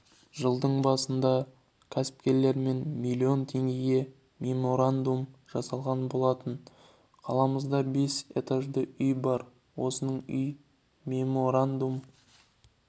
жылдың басында кәсіпкерлермен миллион теңгеге меморандум жасалған болатын қаламызда бес этажды үй бар осының үйі меморандум